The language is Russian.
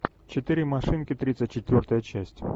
четыре машинки тридцать четвертая часть